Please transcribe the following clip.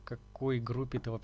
какой группе то